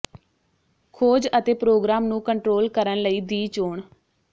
ਖੋਜ ਅਤੇ ਪ੍ਰੋਗਰਾਮ ਨੂੰ ਕੰਟਰੋਲ ਕਰਨ ਲਈ ਦੀ ਚੋਣ